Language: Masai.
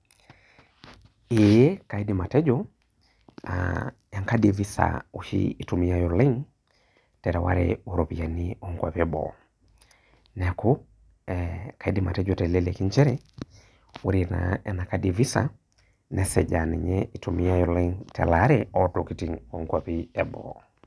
Ee kaindim atejo enkadi e visa oshi itumiai oleng terewata oropiyani onkwapi eboo neaku, kaidim atejo teleleki nchere ore naa enakadi e visa nesuj aa ninye itumiai telaare ontokitin onkwapi eboo.